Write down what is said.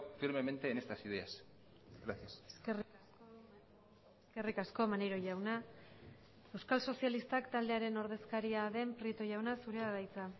firmemente en estas ideas gracias eskerrik asko maneiro jauna euskal sozialistak taldearen ordezkaria den prieto jauna zurea da hitza